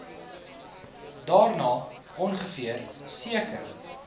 daarna ongeveer seker